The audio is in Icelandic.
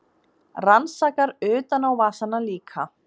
Rannsakar utanávasana líka.